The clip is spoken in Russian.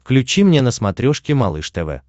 включи мне на смотрешке малыш тв